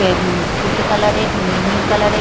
এবং তুঁতে কালার -এর মেয়ে নীল কালার -এর--